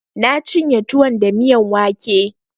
Na cinye tuwon da miyan wake